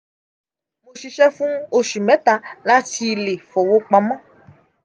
mo ṣiṣẹ fun oṣu mẹta lati le fowopamọ.